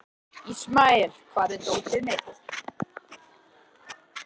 Ismael, hvar er dótið mitt?